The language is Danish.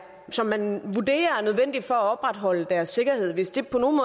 som man vurderer er nødvendig for at opretholde deres sikkerhed hvis det på nogen